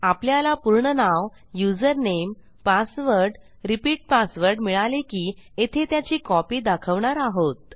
आपल्याला पूर्ण नाव युजरनेम पासवर्ड रिपीट पासवर्ड मिळाले की येथे त्याची कॉपी दाखवणार आहोत